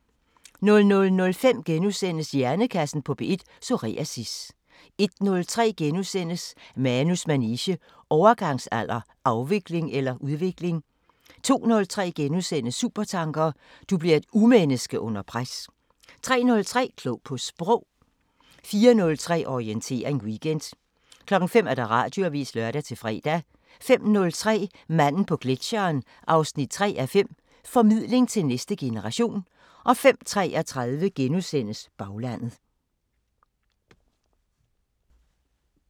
00:05: Hjernekassen på P1: Psoriasis * 01:03: Manus manege: Overgangsalder – afvikling eller udvikling? * 02:03: Supertanker: Du bliver et urmenneske under pres * 03:03: Klog på Sprog 04:03: Orientering Weekend 05:00: Radioavisen (lør-fre) 05:03: Manden på gletscheren 3:5 – Formidling til næste generation 05:33: Baglandet *